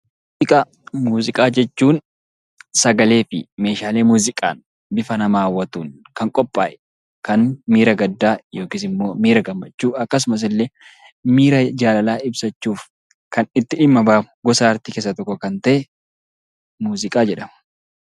Muuziqaa jechuun sagalee fi meeshaalee muuziqaan bifa nama hawwatuun kan qophaa'e, kan miira gaddaa yookiis immoo miira gammachuu akkasumas illee miira jaalalaa ibsachuuf kan itti dhimma ba'amu, gosa artii keessaa isa tokko kan ta'e muuziqaa jedhama.